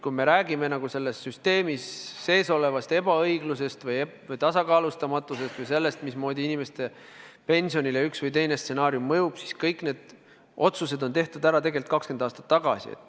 Kui me räägime selles süsteemis olevast ebaõiglusest või tasakaalustamatusest või sellest, mismoodi inimeste pensionile üks või teine stsenaarium mõjub, siis kõik need otsused on tehtud ära tegelikult 20 aastat tagasi.